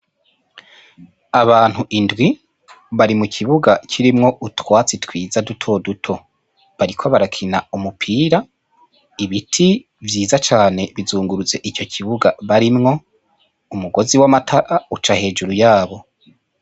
Abantu indwi bari mukibuga ciza kirimwo utwatsi duto duto bariko barakina umupira, ibiti vyiza cane bizungurutse ico kibuga barimwo umugozi wamatara uca hejuru yabo.